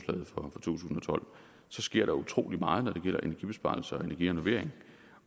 to tusind og tolv sker der utrolig meget når det gælder energibesparelser og energirenovering